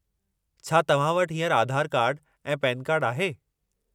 छा तव्हां वटि हींअर आधार कार्ड ऐं पैन कार्ड आहे?